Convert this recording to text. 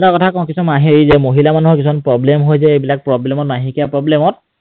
আৰু এটা কথা কওঁ কিছুমান হেৰি যে, মহিলা মানুহৰ কিছুমান problem হয় যে এইবিলাক problem ত মাহেকীয়া problem ত